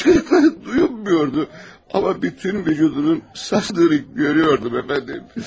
Hıçqırıqları duyulmurdu, amma bütün vücudunun sallandığını görüyordum, əfəndim.